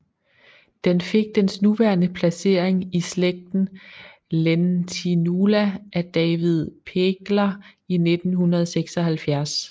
Den fik dens nuværende placering i slægten Lentinula af David Pegler i 1976